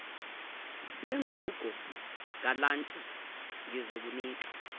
engugo galanti ngizokunika